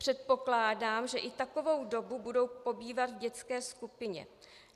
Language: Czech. Předpokládám, že i takovou dobu budou pobývat v dětské skupině.